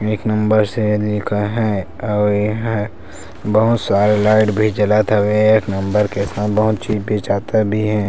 एक नंबर से लिखा हैं और यहाँ बहुत सारे लाइट भी जलत हवे एक नंबर के बहुत चीज बेचता भी है।